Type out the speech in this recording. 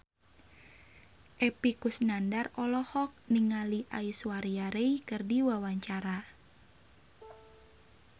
Epy Kusnandar olohok ningali Aishwarya Rai keur diwawancara